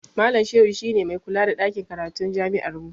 Malam Shehu shi ne mai kula da ɗakin karatun jami'armu.